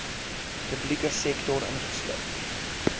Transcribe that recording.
publieke sektor ingesluit